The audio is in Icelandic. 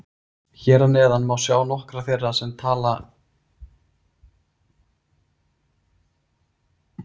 Hér að neðan má sjá nokkra þeirra tala um stuðningsmennina.